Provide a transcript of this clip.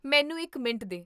ਮੈਨੂੰ ਇੱਕ ਮਿੰਟ ਦੇ